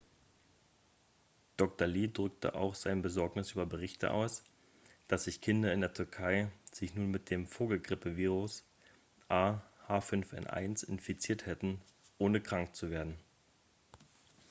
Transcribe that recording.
dr. lee drückte auch seine besorgnis über berichte aus dass sich kinder in der türkei sich nun mit dem vogelgrippevirus ah5n1 infiziert hätten ohne krank zu werden